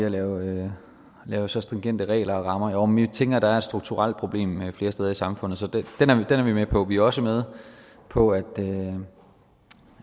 at lave lave så stringente regler og rammer jo men vi tænker at der er et strukturelt problem flere steder i samfundet så den er vi med på vi er også med på at